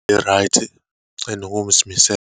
E-right, enokuzimisela.